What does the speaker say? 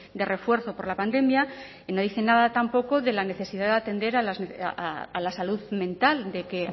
de refuerzo por la pandemia y no dice nada tampoco de la necesidad de atender a la salud mental de que